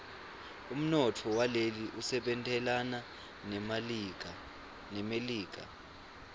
umnotfo waleli usebentelana nemelika